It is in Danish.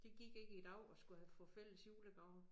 Det gik ikke i dag at skulle have få fælles julegaver